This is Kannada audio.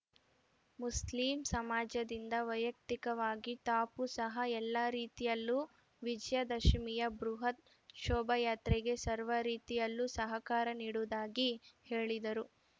ಮುಸ್ಲಿಂ ಸಮಾಜದಿಂದ ವೈಯಕ್ತಿಕವಾಗಿ ತಾಪೂ ಸಹ ಎಲ್ಲಾ ರೀತಿಯಲ್ಲೂ ವಿಜಯದಶಮಿಯ ಬೃಹತ್‌ ಶೋಭಾಯಾತ್ರೆಗೆ ಸರ್ವ ರೀತಿಯಲ್ಲೂ ಸಹಕಾರ ನೀಡುವುದಾಗಿ ಹೇಳಿದರು